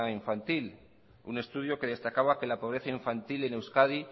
infantil un estudio que destacaba que la pobreza infantil en euskadi